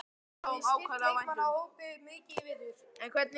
Hafið þið styrkt leikmannahópinn mikið í vetur?